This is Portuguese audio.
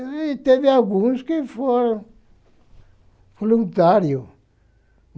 E teve alguns que foram voluntário.